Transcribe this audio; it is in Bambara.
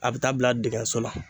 A bɛ taa bila digiɲɛso la.